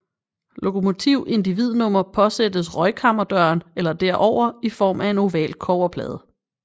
Lokomotiv individnummer påsattes røgkammerdøren eller derover i form af en oval kobberplade